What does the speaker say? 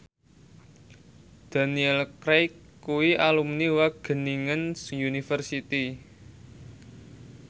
Daniel Craig kuwi alumni Wageningen University